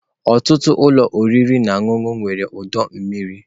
Ọtụtụ ụlọ oriri na ọṅụṅụ nwere ọdọ mmiri.